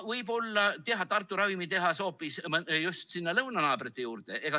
Võib-olla teha Tartu ravimitehas hoopis just sinna lõunanaabrite juurde?